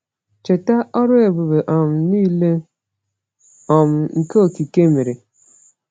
Cheta ọrụ ebube um niile um nke okike mere.